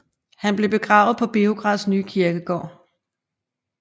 Han blev begravet på Beograds nye kirkegård